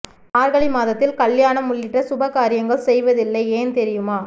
மார்கழி மாதத்தில் கல்யாணம் உள்ளிட்ட சுப காரியங்கள் செய்வதில்லை ஏன் தெரியுமா